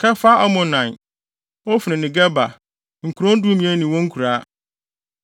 Kefar-Amonai, Ofni ne Geba, nkurow dumien ne wɔn nkuraa.